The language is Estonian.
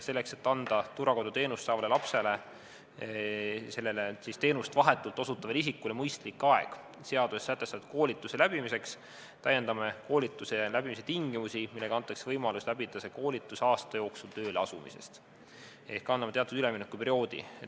Selleks, et anda turvakoduteenust saavale lapsele teenust vahetult osutavale isikule mõistlik aeg seaduses sätestatud koolituse läbimiseks, täiendame koolituse läbimise tingimusi, andes võimaluse läbida see koolitus aasta jooksul tööle asumisest, ehk anname teatud üleminekuperioodi.